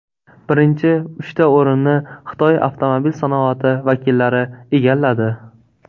Birinchi uchta o‘rinni Xitoy avtomobil sanoati vakillari egalladi.